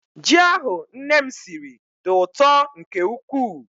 Ji ahụ nne m siri dị ụtọ nke ukwuu.